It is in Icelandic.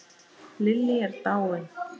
Lillý er dáin.